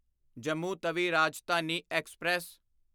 Jammu Tawi Rajdhani express